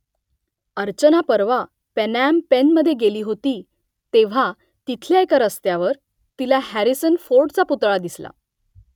अर्चना परवा पनॉम पेनमधे गेली होती तेव्हा तिथल्या एका रस्त्यावर तिला हॅरिसन फोर्डचा पुतळा दिसला